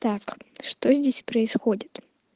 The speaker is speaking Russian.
так что здесь происходит